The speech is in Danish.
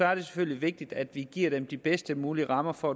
er det selvfølgelig vigtigt at vi giver dem de bedst mulige rammer for